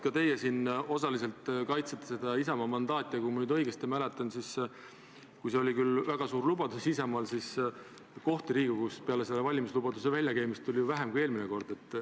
Ka teie siin osaliselt kaitsete seda Isamaa mandaati, aga kui ma õigesti mäletan, siis oli nii, et see oli küll Isamaa väga suur lubadus, aga kohti saadi Riigikogus peale selle valimislubaduse väljakäimist vähem kui eelmine kord.